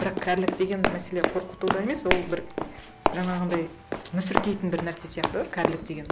бірақ кәрілік деген мәселе қорқытуда емес ол бір жаңағындай мүсіркейтін бір нәрсе сияқты кәрілік деген